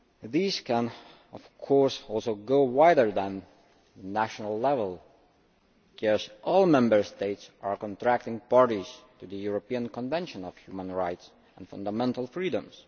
These can, of course, also go wider than national level, because all Member States are contracting parties to the European Convention on Human Rights and Fundamental Freedoms.